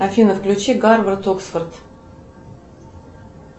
афина включи гарвард оксфорд